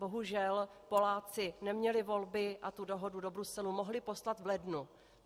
Bohužel Poláci neměli volby a tu dohodu do Bruselu mohli poslat v lednu.